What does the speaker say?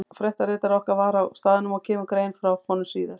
Fréttaritari okkar var á staðnum og kemur grein frá honum síðar.